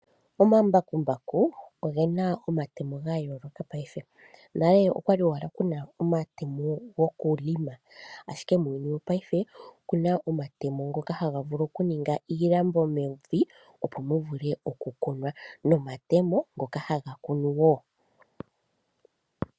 Omambakukumbaku oge na omatemo gayoolaka paife. Nale okwali owala kuna omatemo gokulima ashike muuyunu wopaife oku na omatemo ngoka haga vulu oku ninga iilambo mevi opo mu vulwe oku kunwa, nomatemo ngoka haga kunu woo.